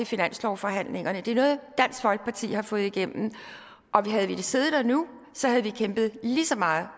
finanslovsforhandlingerne det er noget dansk folkeparti har fået igennem og havde vi siddet der nu havde vi kæmpet lige så meget